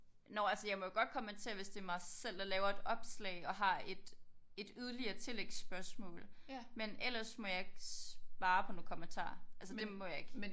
Nåh altså jeg må jo godt kommentere hvis det er mig selv der laver et opslag og har et et yderligere tillægsspørgsmål men ellers må jeg ikke svare på nogle kommentarer altså det må jeg ikke